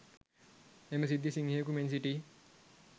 එම සිද්ධිය සිංහයකු මෙන් සිටි